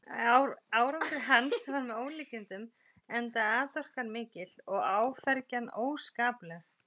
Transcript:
Árangur hans var með ólíkindum, enda atorkan mikil og áfergjan óskapleg.